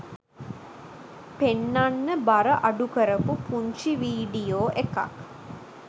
පෙන්නන්න බර අඩු කරපු පුංචි වීඩියෝ එකක්.